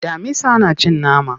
Damisa na cin nama.